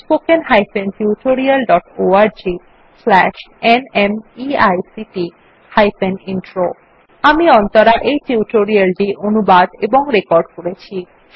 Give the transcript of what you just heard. spoken hyphen tutorial dot org slash ন্মেইক্ট hyphen intro আমি অন্তরা এই টিউটোরিয়াল টি অনুবাদ এবং রেকর্ড করেছি